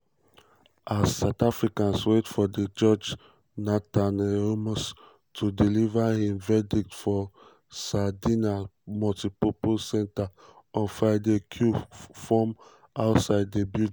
as south africans wait for di judge nathan erasmus to deliver um im verdict for saldanha multipurpose centre on friday queues form outside di building.